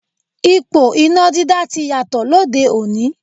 Ipò iná dídá ti yàtọ̀ lóde òní.